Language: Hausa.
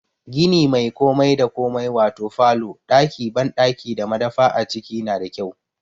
Gini mai komai da komai wato falo, ɗaki banɗaki da madafa a ciki na da kyau.